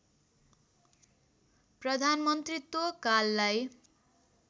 प्रधानमन्त्रीत्व काललाई